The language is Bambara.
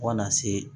Fo kana se